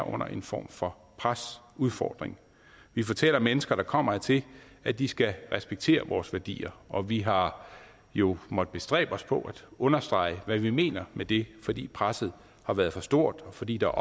under en form for pres udfordring vi fortæller mennesker der kommer hertil at de skal respektere vores værdier og vi har jo måttet bestræbe os på at understrege hvad vi mener med det fordi presset har være for stort og fordi der